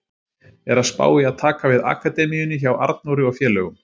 Er að spá í að taka við akademíunni hjá Arnóri og félögum.